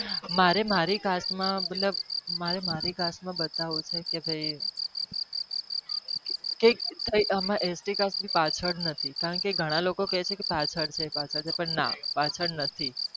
મારે મારી cast માં બતાવું છે કે આપડી એકે cast ની પાછડ નથી કારણ કે ઘણા લોકો કહે છે કે અમે પાછળ નથી